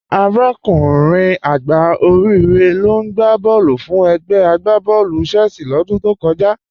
Arákùnrin àgbá Òríre ló n gbà bọ̀ọ̀lù fún ègbè àgbàbọ̀ọ̀lú Chelsea lódún tó kọ̀jà.